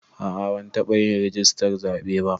A'a ban taɓa yin rijistar zaɓe ba